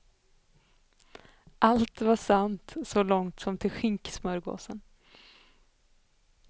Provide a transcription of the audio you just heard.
Allt var sant så långt som till skinksmörgåsen.